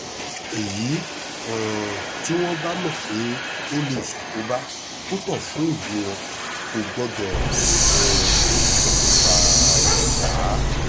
èyí um tí wọ́n bá mọ̀ pé ó lè ṣàkóbá púpọ̀ fún ìlú wọn kò gbọ́dọ̀ um fààyè gbà á